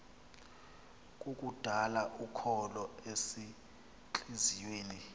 kukudala ukholo ezintliziyweni